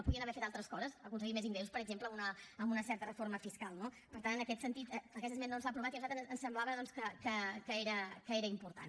podrien haver fet altres coses aconseguir més ingressos per exemple amb una certa reforma fiscal no per tant en aquest sentit aquesta esmena no s’ha aprovat i a nosaltres ens semblava doncs que era important